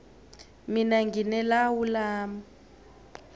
mina ngine lawu lami